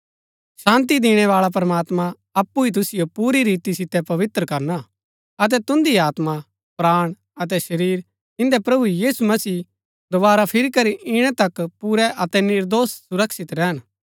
शान्ती दिणैबाळा प्रमात्मां अप्पु ही तुसिओ पुरी रीति सितै पवित्र करना अतै तुन्दी आत्मा प्राण अतै शरीर इन्दै प्रभु यीशु मसीह दोवारा फिरी करी इणै तक पुरै अतै निर्दोष सुरक्षित रैहन